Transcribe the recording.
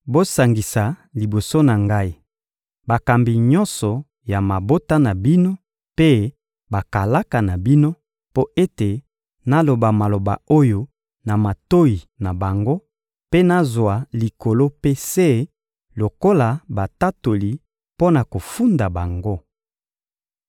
Bosangisa liboso na ngai bakambi nyonso ya mabota na bino mpe bakalaka na bino, mpo ete naloba maloba oyo na matoyi na bango mpe nazwa likolo mpe se lokola batatoli mpo na kofunda bango.